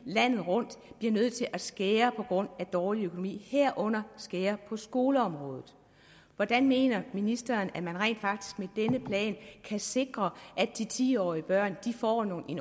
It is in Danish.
landet rundt bliver nødt til at skære på grund af dårlig økonomi herunder skære på skoleområdet hvordan mener ministeren at man rent faktisk med denne plan kan sikre at de ti årige børn får en ordentlig